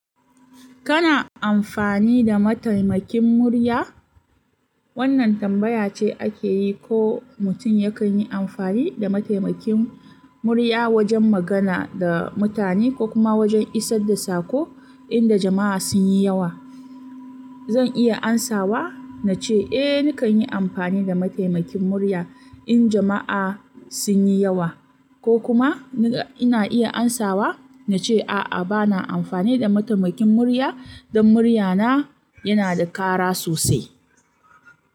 Kana amfani da mataimakin murya? Wannan tambaya ce ake yi ko mutum yakan yi amfani da mataimakin murya wajen magana da mutane ko kuma wajen isar da saƙo inda jama'a sun yi yawa. Zan iya amsawa na ce, "Eh, nakan yi amfani da mataimakin murya in jama'a sun yi yawa." Ko kuma ina iya amsawa na ce, "A'a, ba na amfani da mataimakin murya dan muryana yana da ƙara sosai."